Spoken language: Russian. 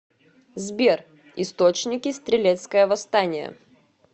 сбер источники стрелецкое восстание